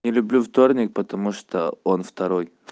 не люблю вторник потому что он второй